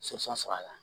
sɔrɔ la